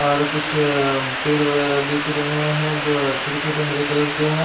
और कुछ अ पेड़ वगेरा दिख रहे है जो छोटे छोटे हरे कलर के है ।